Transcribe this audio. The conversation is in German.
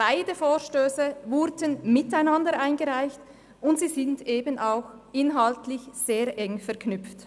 Denn beide Vorstösse wurden miteinander eingereicht, und sie sind inhaltlich sehr eng verknüpft.